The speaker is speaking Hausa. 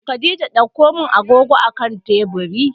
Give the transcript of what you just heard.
Khadijah ɗaukomin agogo a akan teburi